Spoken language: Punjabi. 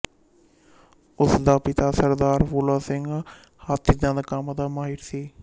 ਉਸ ਦਾ ਪਿਤਾ ਸਰਦਾਰ ਫੂਲਾ ਸਿੰਘ ਹਾਥੀਦੰਦ ਕੰਮ ਦਾ ਮਾਹਿਰ ਸੀ